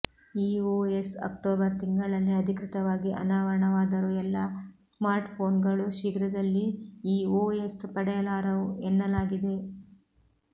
ಈ OS October ತಿಂಗಳಲ್ಲಿ ಅಧಿಕೃತವಾಗಿ ಅನಾವರಣವಾದರೂ ಎಲ್ಲಾ ಸ್ಮಾರ್ಟ್ಫೊನ್ಗಳು ಶೀಘ್ರದಲ್ಲಿ ಈ ಓಎಸ್ ಪಡೆಯಲಾರವು ಎನ್ನಲಾಗಿದೆ